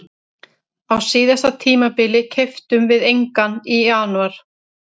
sama ár var einnig grafið þar sem virtust vera rústir bæjarhúsa